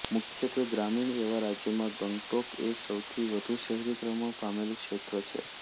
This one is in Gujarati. મુખ્યત્વે ગ્રામીણ એવા રાજ્યમાં ગંગટોક એ સૌથી વધુ શહેરીકરણ પામેલું ક્ષેત્ર છે